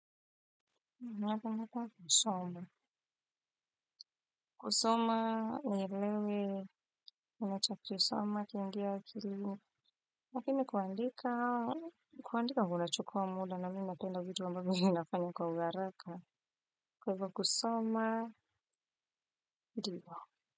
Nataka taka kusoma kusoma. Nataka kisomo kiingie akilini lakini kuandika kuandika kunachukua muda na mimi ninapenda vitu ambavyo ninafanya kwa uharaka. Kwa hivyo kusoma.